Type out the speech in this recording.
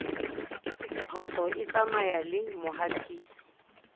phoso e tsamaya le mohatisi